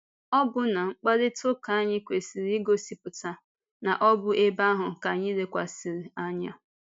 Ọ̀bụ̀nà mkparịta ụka anyị kwesị̀rị igosipụta na ọ bụ ebe ahụ ka anyị lekwasịrị anya.